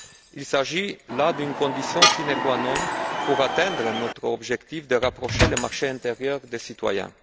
Il s'agit là d'une condition sine qua non pour atteindre notre objectif de rapprocher le marché intérieur des citoyens.